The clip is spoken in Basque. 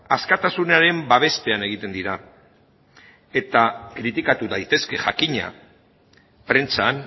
askatasunaren babespean egiten dira eta kritikatu daitezke jakina prentsan